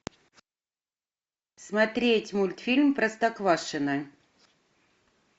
смотреть мультфильм простоквашино